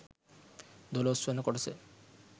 දොලොස්වන කොටස